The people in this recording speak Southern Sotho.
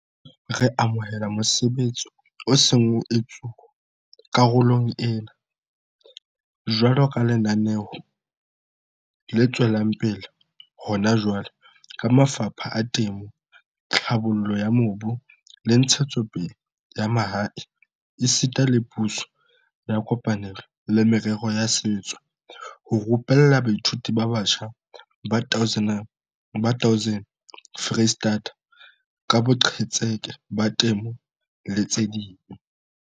Re amohela mosebetsi o seng o etsuwa karolong ena, jwaloka lenaneo le tswelang pele hona jwale ka mafapha a Temo, Tlhabollo ya Mobu le Ntshetsopele ya Mahae esita le Puso ya kopanelo le Merero ya Setso, ho rupella baithuti ba batjha ba 1 000 Freistata ka boqhetseke ba temo le tse ding.